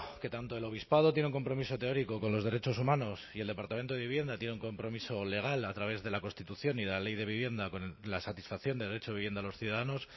que tanto el obispado tiene un compromiso teórico con los derechos humanos y el departamento de vivienda tiene un compromiso legal a través de la constitución y de la ley de vivienda con la satisfacción de derecho de vivienda a los ciudadanos